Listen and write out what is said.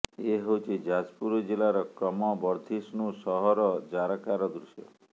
ଏ ହେଉଛି ଯାଜପୁର ଜିଲ୍ଳାର କ୍ରମବର୍ଦ୍ଧିଷ୍ନୁ ସହର ଜାରକାର ଦୃଶ୍ୟ